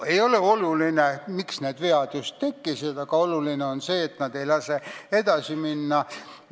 See ei ole oluline, miks need vead tekkisid, oluline on see, et need ei lase meil edasi minna.